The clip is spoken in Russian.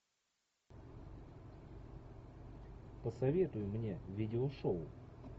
посоветуй мне видеошоу